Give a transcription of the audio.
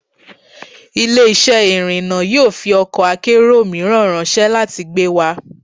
Ile-iṣẹ irinna yoo fi ọkọ akero miiran ranṣẹ lati gbe wa